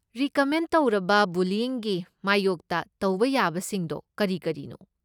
Recommend ꯇꯧꯔꯕ ꯕꯨꯂꯤꯌꯤꯡꯒꯤ ꯃꯥꯌꯣꯛꯇ ꯇꯧꯕ ꯌꯥꯕꯁꯤꯡꯗꯣ ꯀꯔꯤ ꯀꯔꯤꯅꯣ?